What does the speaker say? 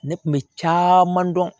Ne kun bɛ caman dɔn